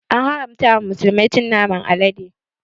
An haramta wa musulmai cin naman alade